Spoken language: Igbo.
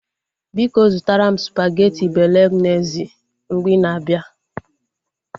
Biko zụtara m spageti bolognezi mgbe ina abịa